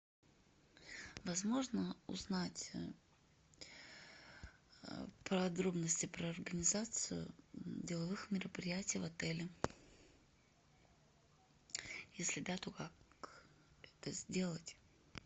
возможно узнать подробности про организацию деловых мероприятий в отеле если да то как это сделать